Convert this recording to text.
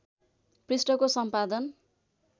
पृष्ठको सम्पादन